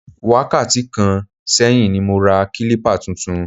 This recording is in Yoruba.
Wákàtí kan sẹ́yìn ni mo ra kílípà tuntun